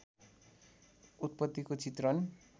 उत्पत्तिको चित्रण